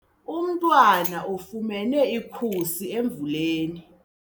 Umntwana ufumene ikhusi emvuleni.